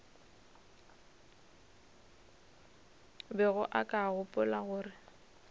bego o ka gopola gore